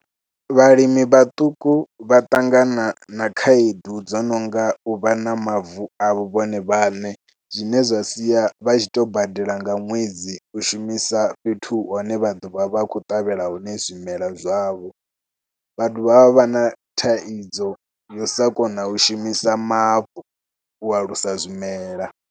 Vhalimi vhaṱuku vha ṱangana na khaedu dzo no nga u vha na mavu a vhone vhaṋe zwine zwa sia vha tshi to badela nga ṅwedzi u shumisa fhethu hune vha ḓo vha vha khou ṱavhela hone zwimelwa zwavho. Vha dovha vha vha na thaidzo ya u sa kona u shumisa mavu u alusa zwimelwa.